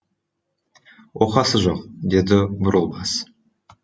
оқасы жоқ деді бурылбас